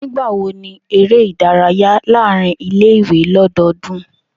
Nigbawo ni ere idaraya laarin ile-iwe lododun?